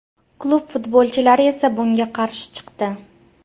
Klub futbolchilari esa bunga qarshi chiqdi.